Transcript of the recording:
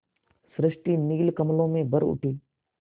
सृष्टि नील कमलों में भर उठी